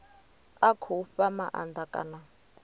a khou fha maanda kana